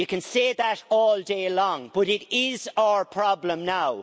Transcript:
You can say that all day long, but it is our problem now.